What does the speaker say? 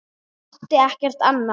Átti ekkert annað.